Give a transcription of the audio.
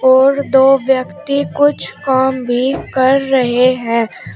और दो व्यक्ति कुछ काम भी कर रहे हैं।